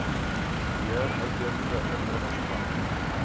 beheer uitheemse indringerplante